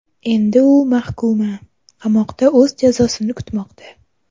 Endi u mahkuma, qamoqda o‘z jazosini kutmoqda.